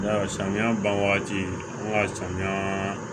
Ya samiya ban wagati an ka samiya